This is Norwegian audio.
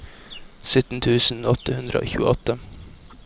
sytten tusen åtte hundre og tjueåtte